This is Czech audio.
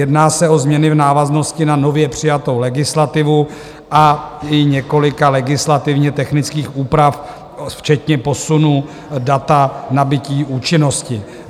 Jedná se o změny v návaznosti na nově přijatou legislativu a i několika legislativně technických úprav, včetně posunu data nabytí účinnosti.